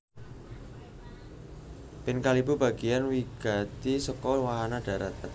Ban kalebu bagéyan wigati saka wahana dahrat